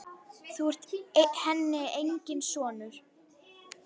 Þú ert henni enginn sonur.